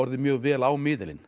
mjög vel á miðilinn